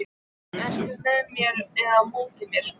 Ertu með mér eða á móti mér?